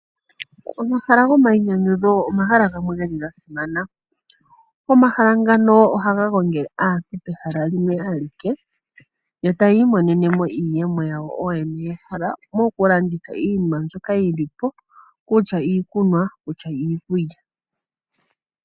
Omahala gomainyanyudho omahala gamwe geli ga simana. Omahala ngano ohaga gongele aantu pehala limwe alike, yo tayi imonene mo iiyemo yawo ooyene yahala moku landitha iinima mbyoka yili po, kutya iikunwa, kutya iikulya.